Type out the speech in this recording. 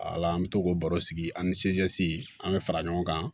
Ala an bɛ to k'o baro sigi ani an bɛ fara ɲɔgɔn kan